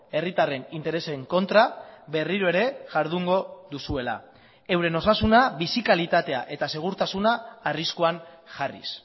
herritarren interesen kontra berriro ere jardungo duzuela euren osasuna bizi kalitatea eta segurtasuna arriskuan jarriz